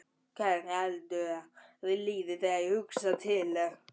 Hvernig heldurðu mér líði þegar ég hugsa til þess?